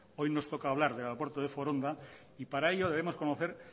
hoy nos toca hablar del aeropuerto de foronda y para ello debemos conocer